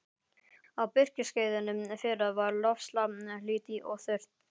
Á birkiskeiðinu fyrra var loftslag hlýtt og þurrt.